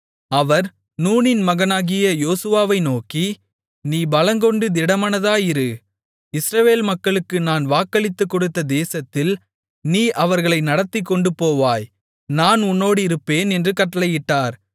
அவர் நூனின் மகனாகிய யோசுவாவை நோக்கி நீ பலங்கொண்டு திடமானதாயிரு இஸ்ரவேல் மக்களுக்கு நான் வாக்களித்துக்கொடுத்த தேசத்தில் நீ அவர்களை நடத்திக்கொண்டுபோவாய் நான் உன்னோடிருப்பேன் என்று கட்டளையிட்டார்